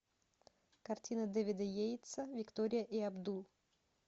картина дэвида йейтса виктория и абдул